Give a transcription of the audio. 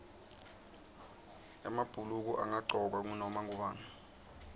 emabhuluko angagcokwa ngunoma ngubani